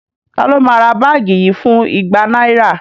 Taló máa ra báàgì yìí fún igba náírà?